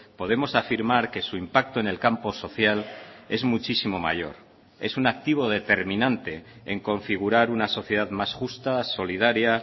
podemos afirmar que su impacto en el campo social es muchísimo mayor es un activo determinante en configurar una sociedad más justa solidaria